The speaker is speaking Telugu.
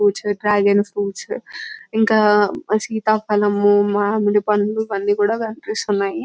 ఫ్రూట్ డ్రాగన్ ఫ్రూట్ ఇంకా సీతఫలం మామిడి పండ్లు ఇవన్నీ కూడా కనిపిస్తూ ఉన్నాయి.